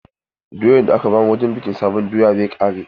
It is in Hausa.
Doyan da aka ba mu wurin bikin sabon doya zai ƙare.